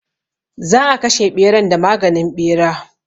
Za a kashe ɓeran da maganin ɓera.